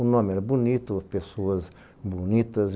O nome era bonito, pessoas bonitas.